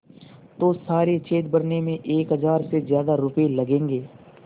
तो सारे छेद भरने में एक हज़ार से ज़्यादा रुपये लगेंगे